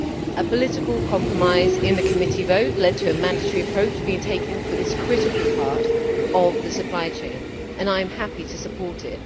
A political compromise in the committee vote led to a mandatory approach being taken for this critical part of the supply chain, and I am happy to support it.